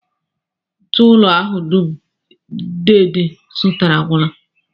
Ntụụlọ ahụ dum deede zụtara agwụla